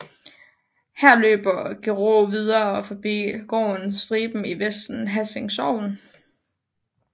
Her løber Gerå videre forbi gården Striben i Vester Hassing Sogn